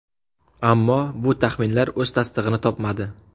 Ammo bu taxminlar o‘z tasdig‘ini topmadi.